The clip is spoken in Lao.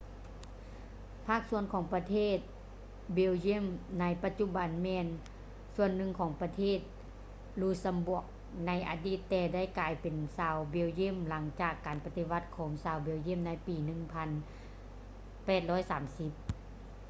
ພາກສ່ວນຂອງປະເທດ belgium ໃນປະຈຸບັນແມ່ນສ່ວນໜຶ່ງຂອງປະເທດ luxembourg ໃນອະດີດແຕ່ໄດ້ກາຍເປັນຊາວ belgium ຫຼັງຈາກການປະຕິວັດຂອງຊາວ belgium ໃນປີ 1830